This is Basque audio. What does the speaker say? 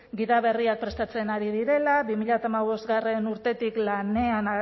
gida berriak prestatzen ari direla bi mila hamabostgarrena urtetik lanean